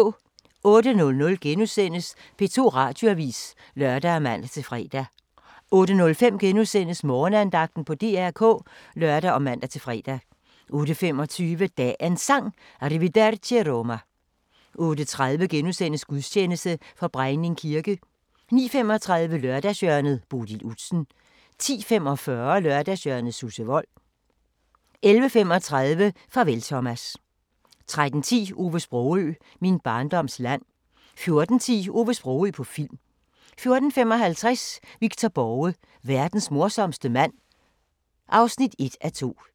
08:00: P2 Radioavis *(lør og man-fre) 08:05: Morgenandagten på DR K *(lør og man-fre) 08:25: Dagens Sang: Arrivederci Roma 08:30: Gudstjeneste fra Brejning kirke * 09:35: Lørdagshjørnet - Bodil Udsen 10:45: Lørdagshjørnet – Susse Wold 11:35: Farvel Thomas 13:10: Ove Sprogøe – Min barndoms land 14:10: Ove Sprogøe på film 14:55: Victor Borge: Verdens morsomste mand (1:2)